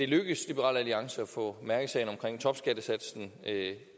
lykkes liberal alliance at få mærkesagen omkring topskattesatsen